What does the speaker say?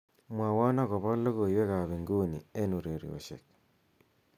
mwowon agopo logoiwek ab inguni en ureryosiek